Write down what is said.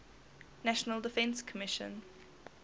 national defense commission